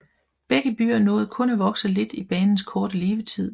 Begge byer nåede kun at vokse lidt i banens korte levetid